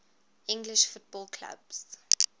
english football clubs